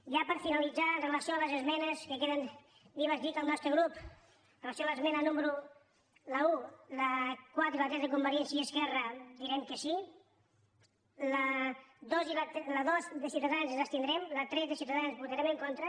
ja per finalitzar amb relació a les esmenes que queden vives dir que el nostre grup amb relació a l’esmena número un la quatre i la tres de convergència i esquerra direm que sí a la dos de ciutadans ens abstindrem a la tres de ciutadans hi votarem en contra